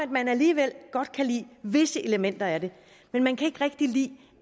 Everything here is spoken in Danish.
man alligevel godt kan lide visse elementer af det men man kan ikke rigtig lide